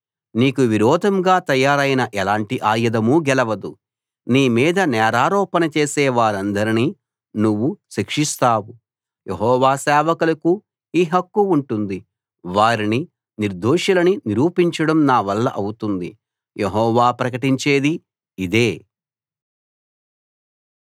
నీకు విరోధంగా తయారైన ఎలాంటి ఆయుధమూ గెలవదు నీ మీద నేరారోపణ చేసే వారందరినీ నువ్వు శిక్షిస్తావు యెహోవా సేవకులకు ఈ హక్కు ఉంటుంది వారిని నిర్దోషులని నిరూపించడం నా వల్ల అవుతుంది యెహోవా ప్రకటించేది ఇదే